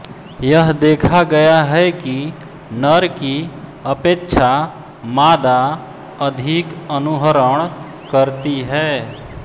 यह देखा गया है कि नर की अपेक्षा मादा अधिक अनुहरण करती है